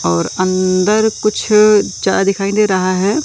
और अंदर कुछ जा दिखाई दे रहा है।